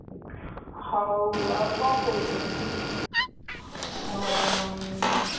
ହଉ ଆଉ କଣ କହୁଛୁ? ଉଁ,